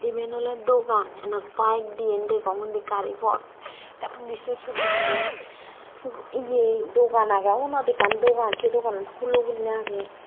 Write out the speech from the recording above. eben oley dogan enot bike diyan degong ondi gari pot ondi sur sur guriney ye dogan agey wanot ekkan dogan sey doganan hulo guriney agey.